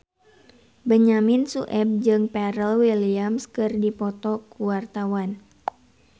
Benyamin Sueb jeung Pharrell Williams keur dipoto ku wartawan